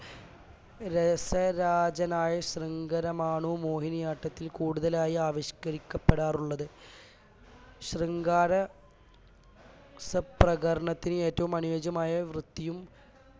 രസരാജനായ ശൃംഗാരമാണു മോഹിനിയാട്ടത്തിൽ കൂടുതലായി ആവിഷ്കരിക്കപ്പെടാറുള്ളത് ശൃംഗാര രസപ്രകരണത്തിനു ഏറ്റവും അനുയോജ്യമായ വൃത്തിയും